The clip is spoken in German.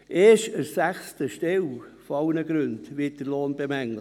Erst an sechster Stelle aller Austrittsgründe wird der Lohn bemängelt.